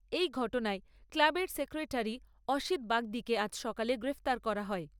এই ঘটনায় ক্লাবের সেক্রেটারি অসিত বাগদীকে আজ সকালে গ্রেপ্তার করা হয়।